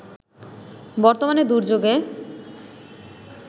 বর্তমানে দুর্যোগে